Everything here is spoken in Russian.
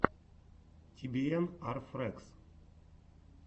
ти би эн ар фрэгс